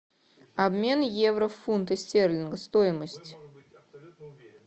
обмен евро в фунты стерлингов стоимость